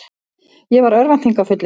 Ég var örvæntingarfullur.